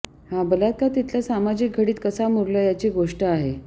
हा बलात्कार तिथल्या सामाजिक घडीत कसा मुरलाय याची गोष्ट आहे